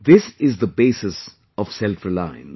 This is the basis of selfreliance